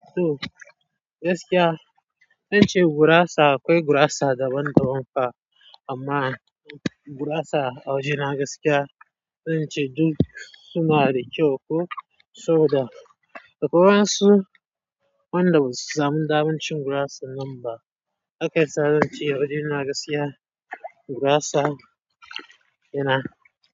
To gaskiya, zan ce gurasa akwai gurasa daban-daban ka, amma gurasa a wajena gaskiya zan ce duk su ma da kyau ko soboda. Da kwai wayan su wanda basu samu damacin gurasa nan ba, akai sa zan ce a wajena gaskiya gurasa yana.